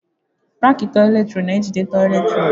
Rakị toịletị rọlụ na ejide toịletị rọlụ.